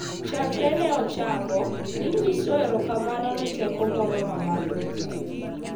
chakre ne ochako, ne nyiso erokamano ne teko moro ma malo moloyo,